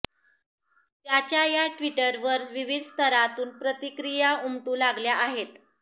त्याच्या या ट्विटवर विविध स्तरातून प्रतिक्रिया उमटू लागल्या आहेत